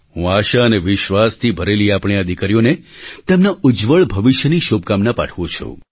હું આશા અને વિશ્વાસથી ભરેલી આપણી આ દીકરીઓને તેમના ઉજ્જવળ ભવિષ્યની શુભકામના પાઠવું છું